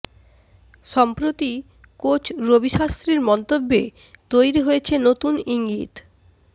সম্প্রতি কোচ রবি শাস্ত্রীর মন্তব্যে তৈরি হয়েছে নতুন ইঙ্গিত